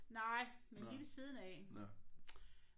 Nej men lige ved siden af